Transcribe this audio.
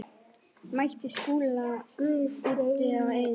Mætti Skúla úti á Eyjum.